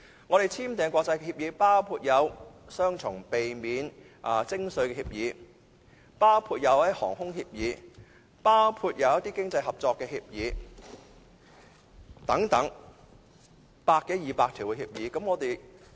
我們已簽訂的國際協議包括避免雙重徵稅協議、航空協議，以及一些經濟合作協議等百多二百項協議。